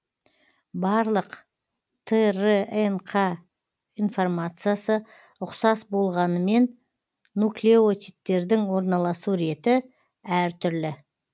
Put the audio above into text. барлық трнқ конформациясы ұқсас болғанымен нуклеотидтердің орналасу реті әр түрлі